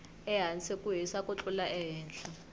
ehasi ku hisa ku tlula ehehla